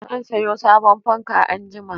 Zan sayo sabon fanka anjima.